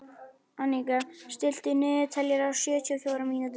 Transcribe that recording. Anika, stilltu niðurteljara á sjötíu og fjórar mínútur.